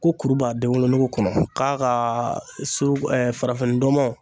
Ko kuru b'a denwolonugu kɔnɔ k'a ka so farafinndɔmɔ.